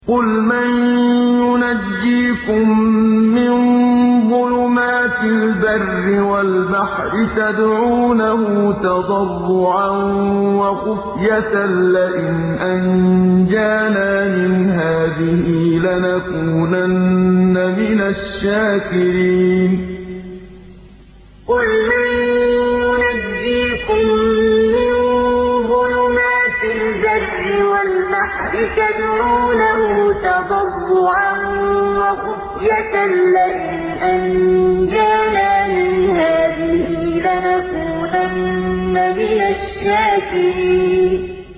قُلْ مَن يُنَجِّيكُم مِّن ظُلُمَاتِ الْبَرِّ وَالْبَحْرِ تَدْعُونَهُ تَضَرُّعًا وَخُفْيَةً لَّئِنْ أَنجَانَا مِنْ هَٰذِهِ لَنَكُونَنَّ مِنَ الشَّاكِرِينَ قُلْ مَن يُنَجِّيكُم مِّن ظُلُمَاتِ الْبَرِّ وَالْبَحْرِ تَدْعُونَهُ تَضَرُّعًا وَخُفْيَةً لَّئِنْ أَنجَانَا مِنْ هَٰذِهِ لَنَكُونَنَّ مِنَ الشَّاكِرِينَ